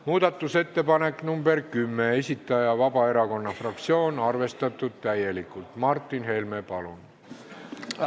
Muudatusettepaneku nr 10 esitaja on Vabaerakonna fraktsioon, täielikult arvestatud.